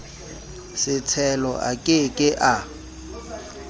setshelo a ke ke a